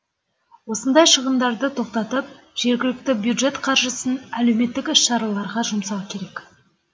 осындай шығындарды тоқтатып жергілікті бюджет қаржысын әлеуметтік іс шараларға жұмсау керек